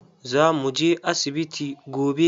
Za mu je asibiti gobe.